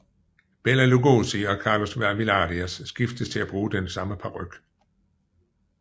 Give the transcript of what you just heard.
Bela Lugosi og Carlos Villarías skiftedes til at bruge den samme paryk